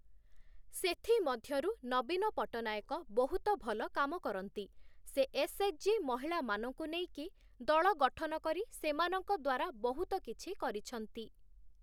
ସେଥିମଧ୍ୟରୁ ନବୀନ ପଟ୍ଟନାୟକ ବହୁତ ଭଲ କାମ କରନ୍ତି, ସେ ଏସ୍‌.ଏଚ୍‌.ଜି୍‌. ମହିଳାମାନଙ୍କୁ ନେଇକି ଦଳ ଗଠନ କରି ସେମାନଙ୍କ ଦ୍ଵାରା ବହୁତ କିଛି କରିଛନ୍ତି ।